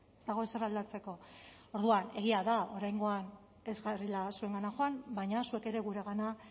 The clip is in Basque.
ez dago ezer aldatzeko orduan egia da oraingoan ez garela zuengana joan baina zuek ere guregana